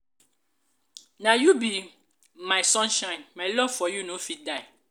na you be my sunshine my love for you no fit die.